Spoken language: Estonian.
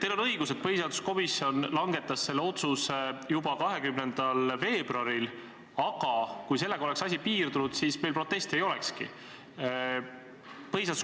Teil on õigus, et põhiseaduskomisjon langetas selle otsuse juba 20. veebruaril, ja kui sellega oleks asi piirdunud, siis me ei protestikski.